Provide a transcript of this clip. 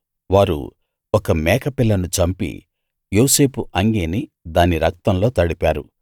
వారు ఒక మేకపిల్లను చంపి యోసేపు అంగీని దాని రక్తంలో తడిపారు